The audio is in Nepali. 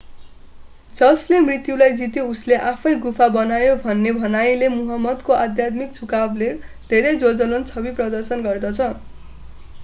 जसले मृत्युलाई जित्यो उसले आफैँ गुफा बनायो भन्ने भनाईलेमुहम्मदको आध्यात्मिक झुकावको धेरै ज्वलन्त छवि प्रदान गर्दछ